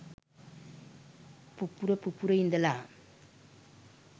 පුපුර පුපුර ඉඳල